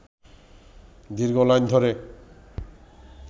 দীর্ঘ লাইন ধরে